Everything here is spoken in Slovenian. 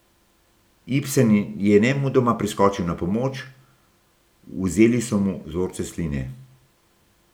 Ibsen je nemudoma priskočil na pomoč, vzeli so mu vzorce sline.